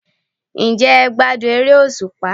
Ǹ jẹ́ e gbádùn eré òsùpá?